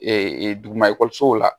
duguma ekɔlisow la